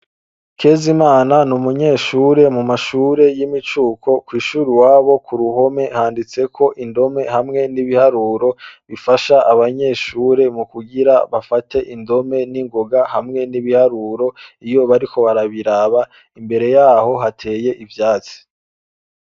Kezimana, ni umunyeshure mu mashure y'imicuko kw'ishure iwabo ku ruhome handitseko indome hamwe n'ibiharuro bifasha abanyeshure mu kugira bafate indome ningonga hamwe n'ibiharuro iyo bariko barabiraba imbere yaho hateye ivyatsi.